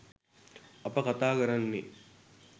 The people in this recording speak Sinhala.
අප කතා කරන්නේ